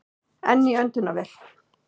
Enn í öndunarvél